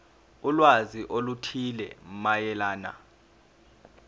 ulwazi oluthile mayelana